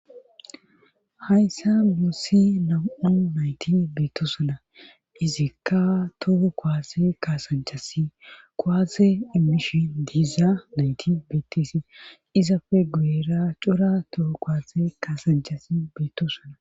hayssa muussi na7u nayti beettosana izikka toho koase kaasanchasi kowase emmishi diiza nayti beettisi izafe guera cora toho kowase kaasanchasi beettosana